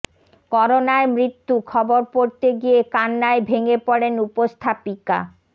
করোনায় মৃত্যু খবর পড়তে গিয়ে কান্নায় ভেঙে পড়েন উপস্থাপিকা